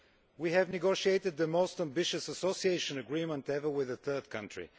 We have negotiated the most ambitious association agreement ever with a third country.